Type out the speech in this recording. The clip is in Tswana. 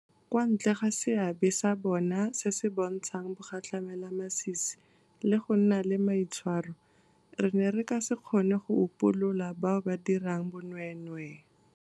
Kwa ntle ga seabe sa bona se se bontshang bogatlhamelamasisi le go nna le maitshwaro, re ne re ka se kgone go upolola bao ba dirang bonweenwee.